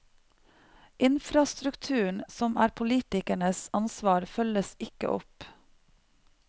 Infrastrukturen, som er politikernes ansvar, følges ikke opp.